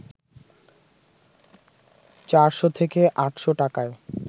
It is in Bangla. ৪শ থেকে ৮শ টাকায়